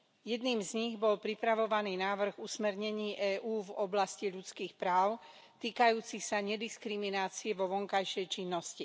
Jedným z nich bol pripravovaný návrh usmernení EÚ v oblasti ľudských práv týkajúci sa nediskriminácie vo vonkajšej činnosti.